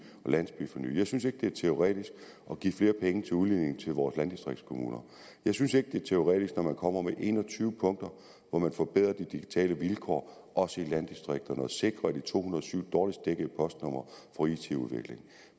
og landsbyforny jeg synes ikke det er teoretisk at give flere penge til udledning til vores landdistriktskommuner jeg synes ikke det er teoretisk når man kommer med en og tyve punkter hvor man forbedrer de digitale vilkår også i landdistrikterne herunder sikrer at de to hundrede og syv dårligst dækkede postnumre får it udvikling